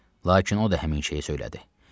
Lakin o da həmin şeyi söylədi.